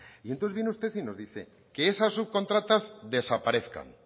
y entonces viene usted y nos dice que esas subcontratas desaparezcan